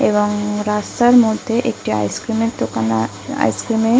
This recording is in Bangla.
এবং রাস্তার মধ্যে একটি আইস ক্রিম এর দোকান আর আইস ক্রিম এর।